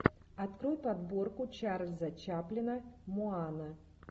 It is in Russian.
открой подборку чарльза чаплина моана